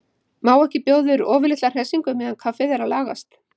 Má ekki bjóða yður ofurlitla hressingu meðan kaffið er að lagast?